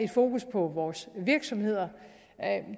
fokus på vores virksomheder